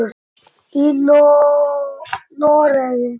Í Noregi